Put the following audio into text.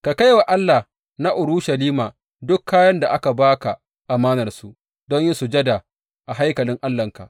Ka kai wa Allah na Urushalima duk kayan da aka ba ka amanarsu don yin sujada a haikalin Allahnka.